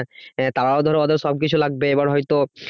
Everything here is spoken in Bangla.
তারাও ধরো হয়তো সবকিছু লাগবে এবার হয়তো